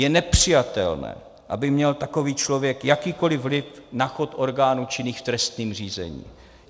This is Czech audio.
Je nepřijatelné, aby měl takový člověk jakýkoli vliv na chod orgánů činných v trestním řízení.